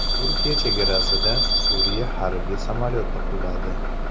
Turkiya chegarasida Suriya harbiy samolyoti quladi.